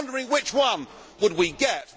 I was wondering which one we would get.